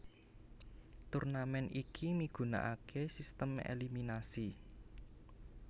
Turnamen iki migunakaké sistem eliminasi